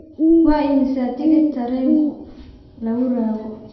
Waa imisa tigidh tareenku? lakurago